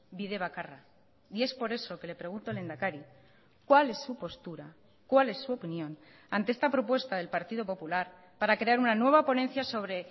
bide bakarra y es por eso que le pregunto lehendakari cuál es su postura cuál es su opinión ante esta propuesta del partido popular para crear una nueva ponencia sobre